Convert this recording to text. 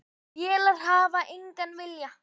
Vélar hafa engan vilja.